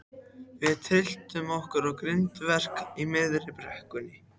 Við tylltum okkur á grindverk í miðri brekkunni.